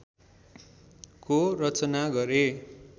को रचना गरे